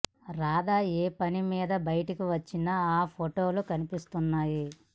రాధా ఏ పని మీద బయటికి వచ్చినా ఆ ఫోటోలు కనిపిస్తున్నాయి